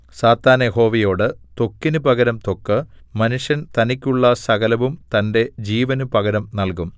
സാത്താൻ യഹോവയോട് ത്വക്കിന് പകരം ത്വക്ക് മനുഷ്യൻ തനിക്കുള്ള സകലവും തന്റെ ജീവന് പകരം നൽകും